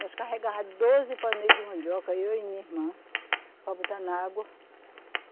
Nós carregava doze paneiro de mandioca, eu e minha irmã, para botar na água.